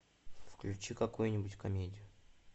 включи какую нибудь комедию